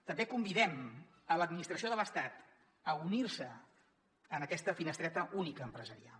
també convidem l’administració de l’estat a unir se en aquesta finestreta única empresarial